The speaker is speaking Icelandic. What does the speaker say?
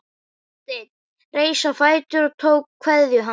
Marteinn reis á fætur og tók kveðju hans.